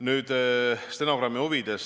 Nüüd stenogrammi huvides.